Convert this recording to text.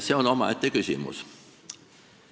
See on omaette küsimus.